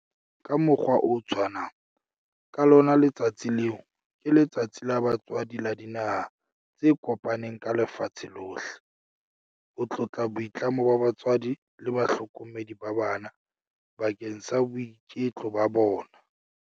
Ka mokgwa o tshwanang, ka lona letsatsi leo ke Letsatsi la Batswadi la Dinaha tse Kopaneng ka Lefatshe lohle, ho tlotla boitlamo ba batswadi le bahlokomedi ba bana bakeng sa boiketlo ba bona.